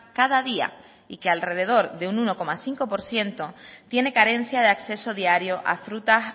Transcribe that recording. cada día y que alrededor de un uno coma cinco por ciento tiene carencia de acceso diario a frutas